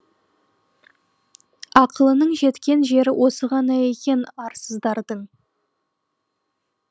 ақылының жеткен жері осы ғана екен арсыздардың